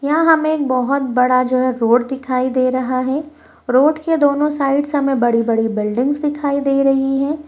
यहां हमें एक बहोत बड़ा जो है रोड दिखाइ दे रहा है। रोड के दोनों साइड्स हमें बड़ी-बड़ी बिल्डिंग्स दिखाई दे रही हैं।